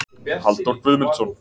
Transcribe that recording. Halldór Guðmundsson.